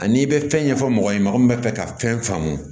Ani i bɛ fɛn ɲɛfɔ mɔgɔ ye mɔgɔ min bɛ fɛ ka fɛn faamu